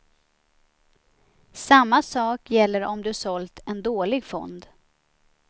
Samma sak gäller om du sålt en dålig fond.